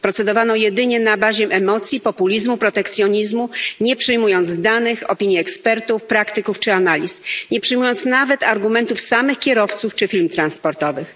Procedowano jedynie na bazie emocji, populizmu, protekcjonizmu, nie przyjmując danych, opinii ekspertów, praktyków, czy analiz, nie przyjmując nawet argumentów samych kierowców czy firm transportowych.